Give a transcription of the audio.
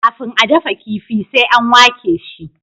kafin a dafa kifi sai an wake shi